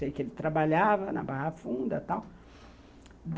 Sei que ele trabalhava na Barra Funda e tal.